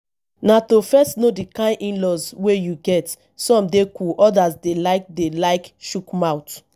na to first know di kind inlaws wey you get some dey cool odas dey like dey like chook mouth